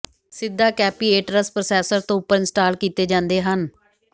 ਸਿੱਧਾ capacitors processor ਤੋਂ ਉੱਪਰ ਇੰਸਟਾਲ ਕੀਤੇ ਜਾਂਦੇ ਹਨ